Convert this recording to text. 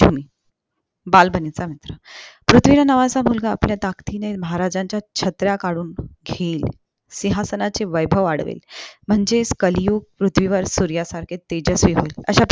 बालपणीचा मित्र पृथ्वीराज नावाचा मुलगा आपल्या ताकदीने महाराजांच्या छत्र्या काढून ठेवी सिहांसनाचे वैभव वाढवेल म्हणजेच कलियुत्य पृथ्वीवर सूर्यासारखे तेजजस्वी